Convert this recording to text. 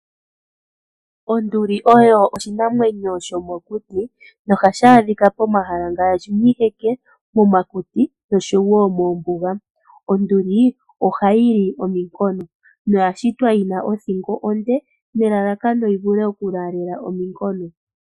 Onduli oyo oshinamwenyo shomokuti, na ohashi adhika pomahala ngaashi miiheke, momakuti, noshowo moombuga. Onduli ohayi li ominkono, na oya shitwa yina othingo nde , nelalakano opo yivule okulaalela ominkono.